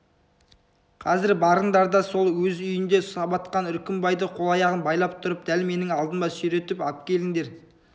қазір барыңдар да сол өз үйінде сабатқан үркімбайды қол-аяғын байлап тұрып дәл менің алдыма сүйретіп әпкеліңдер